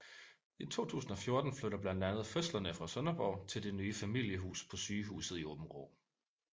I 2014 flytter blandt andet fødslerne fra Sønderborg til det nye familiehus på sygehuset i Aabenraa